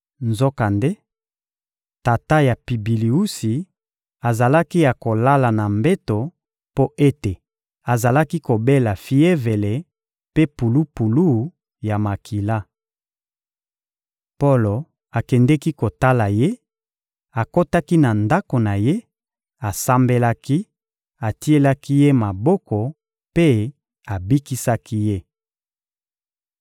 Nzokande, tata ya Pibiliusi azalaki ya kolala na mbeto mpo ete azalaki kobela fievele mpe pulupulu ya makila. Polo akendeki kotala ye, akotaki na ndako na ye, asambelaki, atielaki ye maboko mpe abikisaki ye.